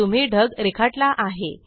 तुम्ही ढग रेखाटला आहे